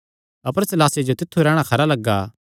अपर सीलासे जो तित्थु रैहणा खरा लग्गा